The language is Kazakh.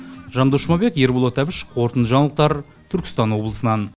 жандос жұмабек ерболат әбіш қорытынды жаңалықтар түркістан облысынан